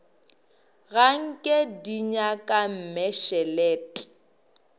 ga nke di nyaka mmešelet